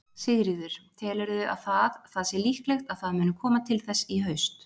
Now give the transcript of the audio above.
Sigríður: Telurðu að það, það sé líklegt að það muni koma til þess í haust?